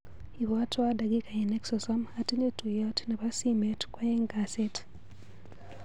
Ibwatwa dakikainik sosom ,atinye tuiyot nebo simet kwaeng' kasit.